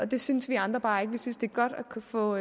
det synes vi andre bare ikke vi synes det er godt at kunne få